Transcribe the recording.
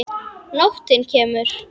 Nóttin kemur.